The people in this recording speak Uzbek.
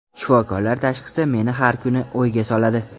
Shifokorlar tashxisi meni har kuni o‘yga soladi.